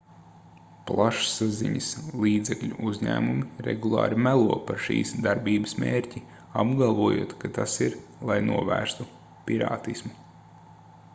plašsaziņas līdzekļu uzņēmumi regulāri melo par šīs darbības mērķi apgalvojot ka tas ir lai novērstu pirātismu